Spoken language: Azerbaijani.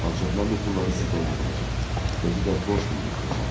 Ancaq mən bu pulları sizdən götürəcəm, özü də borc kimi götürəcəm.